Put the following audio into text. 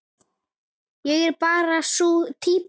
Ég er bara sú týpa.